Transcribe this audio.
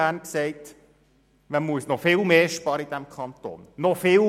In einzelnen Bereichen sind wir bereits so weit.